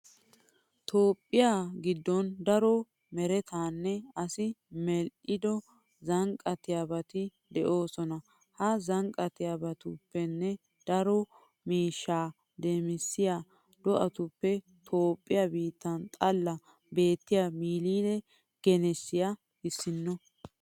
Toophphiya giddon daro meretanne asi medhdhido zannaqettiyobati de'oosona. Ha zannaqettiyobatuppenne daro miishshaa demissiya do'atuppe Toophphiya biitta xallan beettiya milile genessiya issinno.